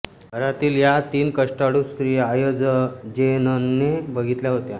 घरातील या तीन कष्टाळू स्त्रिया आयजेनने बघितल्या होत्या